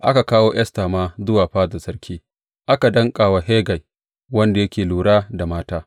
Aka kawo Esta ma zuwa fadar sarki, aka danƙa ta wa Hegai, wanda yake lura da mata.